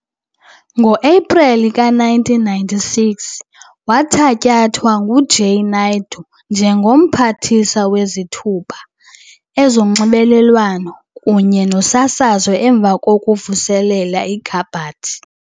Ngo-Epreli ka-1996, wathatyathwa nguJay Naidoo njengo-Mphathiswa Wezithuba, Ezonxibelelwano kunye Nosasazo emva kokuvuselela ikhabhathi.